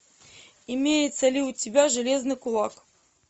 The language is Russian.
имеется ли у тебя железный кулак